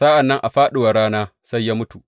Sa’an nan a fāɗuwar rana sai ya mutu.